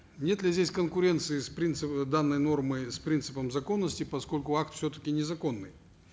нет ли здесь конкуренции с принципом данной нормы с принципом законности поскольку акт все таки незаконный